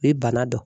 I bana don